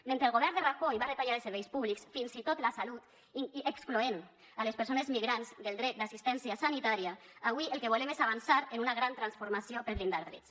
mentre el govern de rajoy va retallar els serveis públics fins i tot la salut excloent les persones migrants del dret d’assistència sanitària avui el que volem és avançar en una gran transformació per a blindar drets